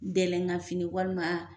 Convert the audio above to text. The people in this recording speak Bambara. Dɛlɛnkan fini ,walima.